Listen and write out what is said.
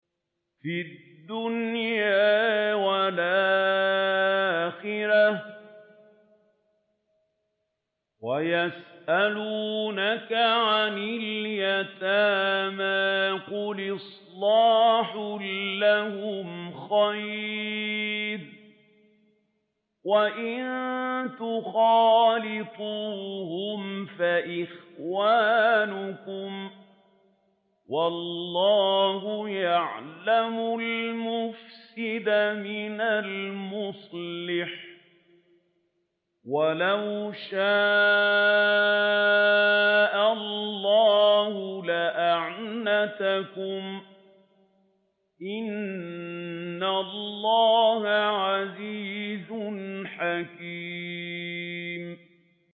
فِي الدُّنْيَا وَالْآخِرَةِ ۗ وَيَسْأَلُونَكَ عَنِ الْيَتَامَىٰ ۖ قُلْ إِصْلَاحٌ لَّهُمْ خَيْرٌ ۖ وَإِن تُخَالِطُوهُمْ فَإِخْوَانُكُمْ ۚ وَاللَّهُ يَعْلَمُ الْمُفْسِدَ مِنَ الْمُصْلِحِ ۚ وَلَوْ شَاءَ اللَّهُ لَأَعْنَتَكُمْ ۚ إِنَّ اللَّهَ عَزِيزٌ حَكِيمٌ